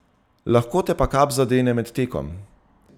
Lahko te pa kap zadene med tekom.